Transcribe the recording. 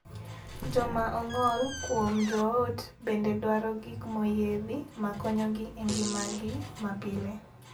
Joma ong'ol kuom joot bende dwaro gik moyiedhi ma konyogi engimagi ma pile.